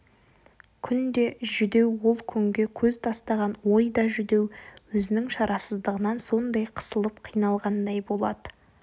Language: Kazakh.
күн де жүдеу ол күнге көз тастаған ой да жүдеу өзінің шарасыздығынан сондай қысылып қиналғандай болады